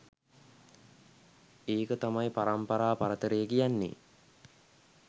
ඒක තමයි පරම්පරා පරතරය කියන්නේ!